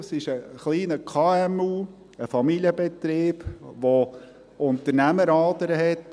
Es ist ein kleineres KMU, ein Familienbetrieb, der Unternehmeradern hat.